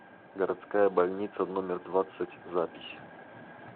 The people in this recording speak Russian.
городская больница номер двадцать запись